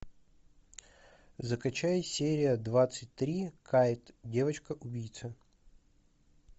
закачай серия двадцать три кайт девочка убийца